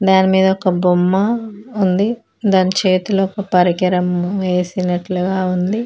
దాని మీద ఒక బొమ్మ ఉంది దాని చేతిలో ఒక పరికరం వేసినట్లుగా ఉంది.